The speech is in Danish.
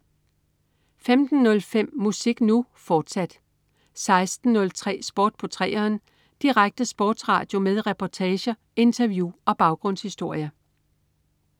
15.05 Musik Nu!, fortsat 16.03 Sport på 3'eren. Direkte sportsradio med reportager, interview og baggrundshistorier